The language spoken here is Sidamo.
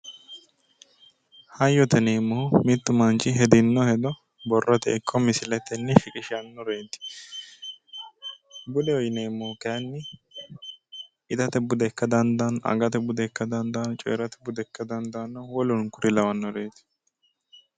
Hayyote yineemmohu mittu manchi hedino hedo borrote ikko misiletenni shiqishannoreeti. Budeho yineemmohu kayinni itate bude ikka dandaanno, agate bude ikka dandaanno, woluno kuri lawannoreeti.